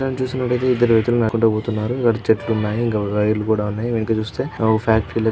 చిత్రం చూస్తున్నట్లయితే ఇద్దరు వ్యక్తులు నడుచుకుంటూ పోతున్నారు. వాటి చెట్లు ఉన్నాయి. ఇంకా వైర్ లు కూడా ఉన్నాయి వెనుక చూస్తే.